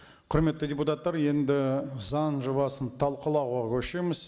құрметті депутаттар енді заң жобасын талқылауға көшеміз